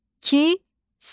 Kisə.